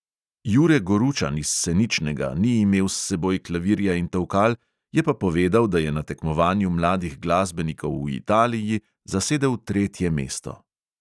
Jure goručan iz seničnega ni imel s seboj klavirja in tolkal, je pa povedal, da je na tekmovanju mladih glasbenikov v italiji zasedel tretje mesto.